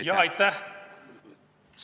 Aitäh!